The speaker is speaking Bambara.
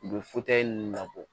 U bɛ ninnu labɔ